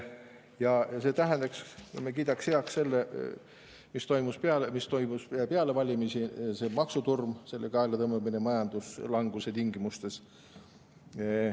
Ja see tähendaks, et me kiidaks heaks selle, mis toimus peale valimisi, see maksutorm, selle kaelatõmbamine majanduslanguse tingimustes.